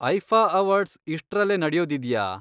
IIFA awards ಇಷ್ಟ್ರಲ್ಲೇ ನಡ್ಯೋದಿದ್ಯಾ?